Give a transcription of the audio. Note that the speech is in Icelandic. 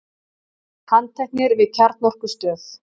Handteknir við kjarnorkustöð